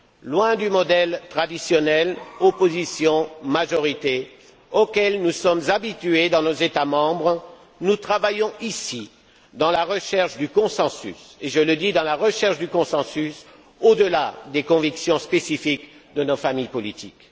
Loin du modèle traditionnel opposition majorité auquel nous sommes habitués dans nos États membres, nous travaillons ici, je le souligne, dans la recherche du consensus, au delà des convictions spécifiques de nos familles politiques.